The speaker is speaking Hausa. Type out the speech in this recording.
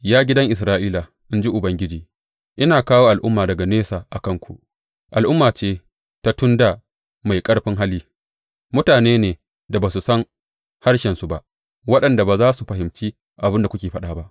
Ya gidan Isra’ila, in ji Ubangiji, Ina kawo al’umma daga nesa a kanku al’umma ce ta tun dā mai ƙarfin hali, mutane ne da ba ku san harshensu ba, waɗanda ba za ku fahimci abin da suke faɗa ba.